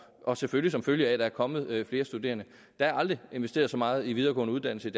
og selvfølgelig som følge af at der er kommet flere studerende der er aldrig investeret så meget i de videregående uddannelser i